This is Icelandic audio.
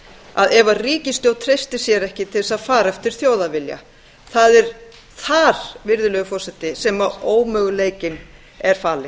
að ef ríkisstjórn treystir sér ekki til að fara eftir þjóðarvilja það er þar sem ómöguleikinn er falinn